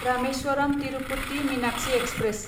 Rameswaram Tirupati Meenakshi express